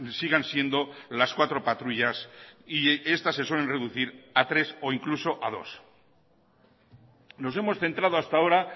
sigan siendo las cuatro patrullas y estas se suelen reducir a tres o incluso a dos nos hemos centrado hasta ahora